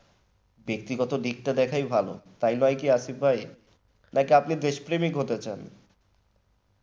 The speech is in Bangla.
ব্যক্তিগত দিকটা দেখা ভালো তাই নয় কি আসিফ ভাই না আপনি দেশ প্রেমিক হতে চান?